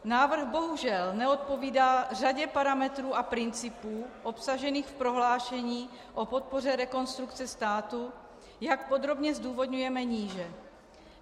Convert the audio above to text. Návrh bohužel neodpovídá řadě parametrů a principů obsažených v prohlášení o podpoře Rekonstrukce státu, jak podrobně zdůvodňujeme níže.